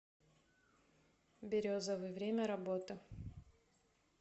березовый время работы